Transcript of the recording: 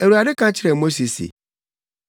Awurade ka kyerɛɛ Mose se,